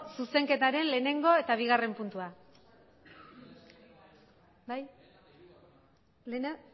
zuzenketaren lehenengo eta bigarren puntua bai lehena